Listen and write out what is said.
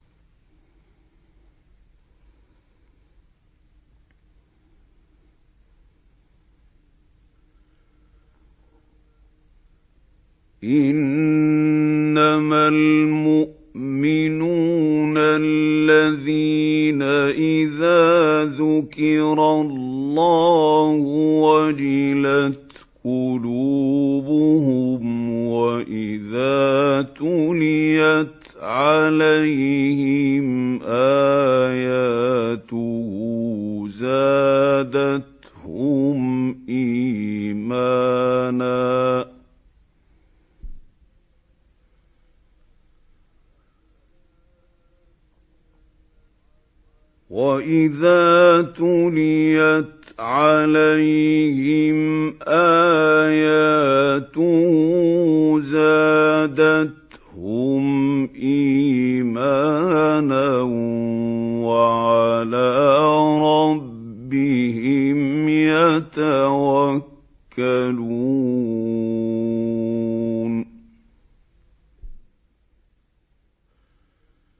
إِنَّمَا الْمُؤْمِنُونَ الَّذِينَ إِذَا ذُكِرَ اللَّهُ وَجِلَتْ قُلُوبُهُمْ وَإِذَا تُلِيَتْ عَلَيْهِمْ آيَاتُهُ زَادَتْهُمْ إِيمَانًا وَعَلَىٰ رَبِّهِمْ يَتَوَكَّلُونَ